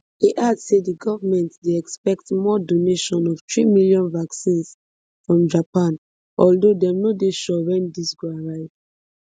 e add say di goment dey expect more donation of three million vaccines from japan although dem no dey sure wen dis go arrive